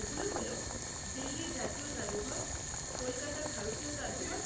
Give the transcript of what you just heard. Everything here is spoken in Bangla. এগুলো হল দিল্লির জাতীয় জাদুঘর, কলকাতার ভারতীয় জাদুঘর,